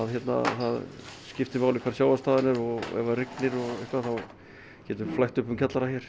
það skiptir máli hver sjávarstaðan er og ef það rignir getur flætt upp um kjallara hér